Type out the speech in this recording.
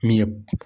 Min ye